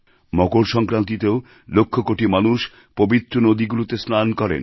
মকর সংক্রান্তিতেও লক্ষকোটি মানুষ পবিত্র নদীগুলিতে স্নান করেন